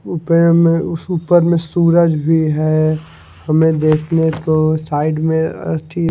ऊ पेड़ में उस ऊपर में सूरज भी है हमें देखने को साइड में थी--